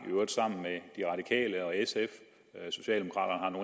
i radikale og sf socialdemokraterne